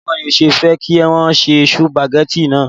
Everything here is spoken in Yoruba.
Báwo ni ẹ ṣe fẹ́ kí wọn se sùpàgẹ́tì náà?